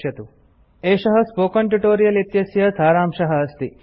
httpspoken tutorialorgWhat is a Spoken Tutorial एषः spoken tutorial इत्यस्य सारांशः अस्ति